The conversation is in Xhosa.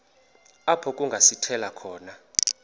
apho kungasithela khona